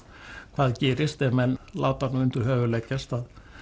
hvað gerist ef menn láta undir höfuð leggjast